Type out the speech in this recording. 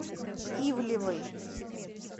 ивлевой